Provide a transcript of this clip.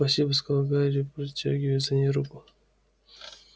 спасибо сказал гарри протягивая за ней руку